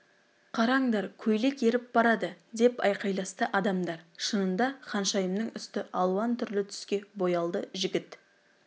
қараңдар көйлек еріп барады деп айқайласты адамдар шынында да ханшайымның үсті алуан түрлі түске боялды жігіт